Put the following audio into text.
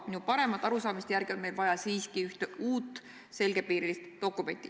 Minu paremate arusaamiste järgi on meil vaja siiski ühte uut selgepiirilist dokumenti.